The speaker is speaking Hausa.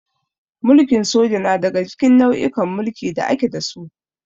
Mulkin soja na daga cikin nau'ikan mulki da ake da su.